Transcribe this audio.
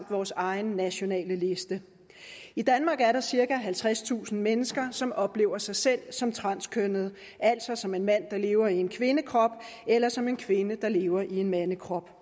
vores egen nationale liste i danmark er der cirka halvtredstusind mennesker som oplever sig selv som transkønnnede altså som en mand der lever i en kvindekrop eller som en kvinde der lever i en mandekrop